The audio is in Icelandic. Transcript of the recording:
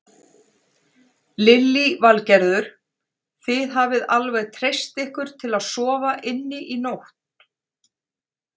Lillý Valgerður: Þið hafið alveg treyst ykkur til að sofa inni í nótt?